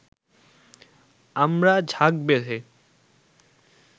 আমরা ঝাঁক বেঁধে